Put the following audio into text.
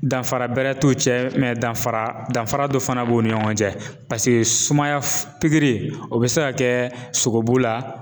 Danfara bɛrɛ t'u cɛ danfara danfara dɔ fana b'u ni ɲɔgɔn cɛ paseke sumaya pikiri o bɛ se ka kɛ sogobu la